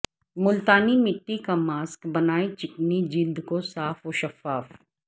ملتانی مٹی کا ماسک بنائے چکنی جلد کو صاف و شفاف